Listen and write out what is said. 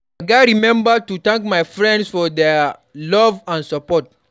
I gats remember to thank my friends for their love and support.